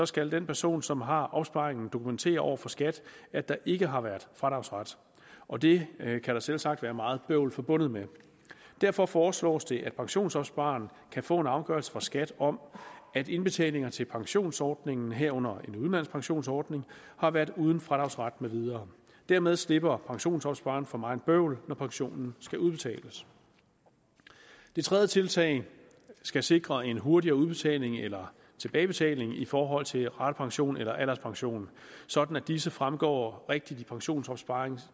skal den person som har opsparingen dokumentere over for skat at der ikke har været fradragsret og det kan der selvsagt være meget bøvl forbundet med derfor foreslås det at pensionsopspareren kan få en afgørelse fra skat om at indbetalinger til pensionsordningen herunder en udenlandsk pensionsordning har været uden fradragsret med videre dermed slipper pensionsopspareren for meget bøvl når pensionen skal udbetales det tredje tiltag skal sikre en hurtigere udbetaling eller tilbagebetaling i forhold til ratepensionen eller alderspensionen sådan at disse fremgår rigtigt i pensionsopsparerens